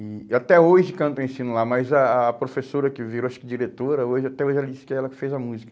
E e até hoje cantam e ensinam lá, mas a a professora que virou acho que diretora, hoje até hoje ela disse que é ela que fez a música.